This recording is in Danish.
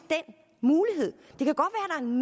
den